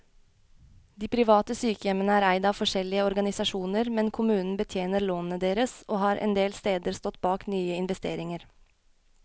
De private sykehjemmene er eid av forskjellige organisasjoner, men kommunen betjener lånene deres, og har endel steder stått bak nye investeringer.